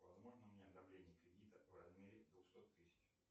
возможно мне одобрение кредита в размере двухсот тысяч